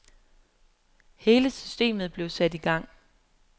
Hele systemet blev sat i gang.